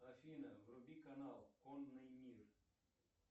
афина вруби канал конный мир